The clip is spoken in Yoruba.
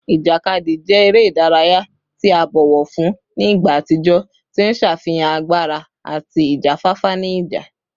Ijakadi jẹ ere idaraya ti a bọwọ fun ni igba atijọ, ti n ṣafihan agbara ati ijafafa ni ija